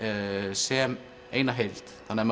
sem eina held þannig að